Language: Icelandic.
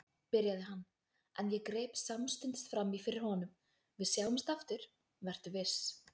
byrjaði hann, en ég greip samstundis fram í fyrir honum: Við sjáumst aftur, vertu viss.